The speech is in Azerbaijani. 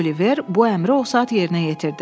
Oliver bu əmri o saat yerinə yetirdi.